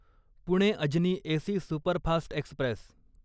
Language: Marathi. Pune Ajni AC superfast Express